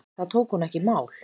Það tók hún ekki í mál.